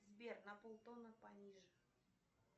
сбер на пол тона пониже